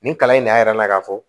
Nin kalan in ne y'a yira n na k'a fɔ